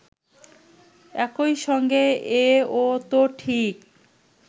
একই সঙ্গে এ-ও তো ঠিক